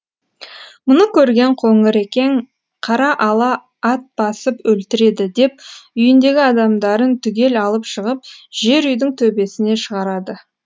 мұны көрген қоңырекең қара ала ат басып өлтіреді деп үйіндегі адамдарын түгел алып шығып жер үйдің төбесіне шығарады